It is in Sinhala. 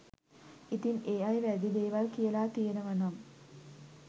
ඉතින් ඒ අය වැරදි දේවල් කියලා තියෙනවනම්